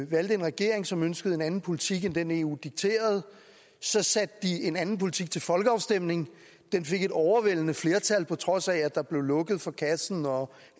valgte en regering som ønskede en anden politik end den eu dikterede så satte de en anden politik til folkeafstemning den fik et overvældende flertal på trods af at der bliver lukket for kassen og